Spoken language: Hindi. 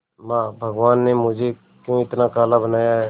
मां भगवान ने मुझे क्यों इतना काला बनाया है